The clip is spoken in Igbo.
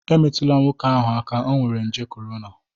emetụla nwoke ahụ aka, o nwere nje corona!